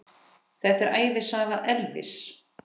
Þetta er ævisaga Elvis!